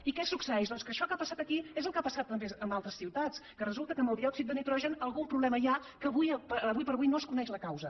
i què succeeix doncs que això que ha passat aquí és el que ha passat també en altres ciutats que resulta que amb el diòxid de nitrogen algun problema hi ha que ara com ara no se’n coneix la causa